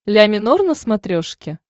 ля минор на смотрешке